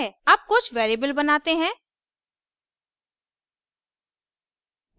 अब कुछ variables बनाते हैं